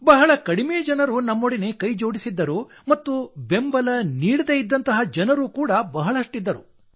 ಬಹಳ ಕಡಿಮೆ ಜನರು ನಮ್ಮೊಡನೆ ಕೈಜೋಡಿಸಿದ್ದರು ಮತ್ತು ಬೆಂಬಲ ನೀಡದೇ ಇದ್ದಂತಹ ಜನರು ಕೂಡಾ ಬಹಳಷ್ಟಿದ್ದರು